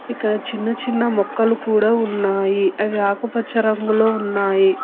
ఇక్కడ చిన్న చిన్న మొక్కలు కూడా ఉన్నాయి అవి ఆకుపచ్చ రంగులో ఉన్నాయి.